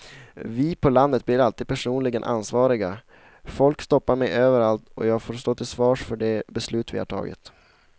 Vi på landet blir alltid personligen ansvariga, folk stoppar mig överallt och jag får stå till svars för de beslut vi har tagit.